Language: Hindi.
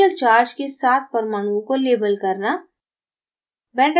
partial charge के साथ परमाणुओं को label करना